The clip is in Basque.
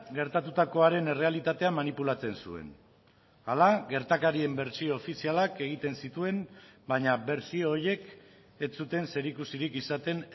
gertatutakoaren errealitatea manipulatzen zuen hala gertakarien bertsio ofizialak egiten zituen baina bertsio horiek ez zuten zerikusirik izaten